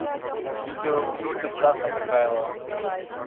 видеоклипы стаса михайлова